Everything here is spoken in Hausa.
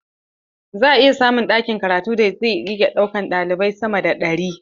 Za a iya samun ɗakin karatun da zai ɗauki sama da ɗalibai ɗari.